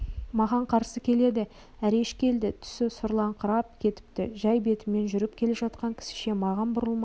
маған қарсы келеді әреш келді түсі сұрланыңқырап кетіпті жай бетімен жүріп келе жатқан кісіше маған бұрылмай